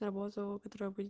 работу которую будет